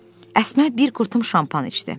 Əsmər bir qurtum şampan içdi.